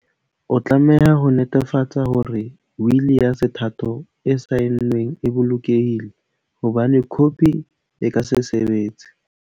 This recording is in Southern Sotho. O tlameha ho netefatsa hore wili ya sethatho e saenweng e bolokehile, ho bane khopi e ka se sebetse.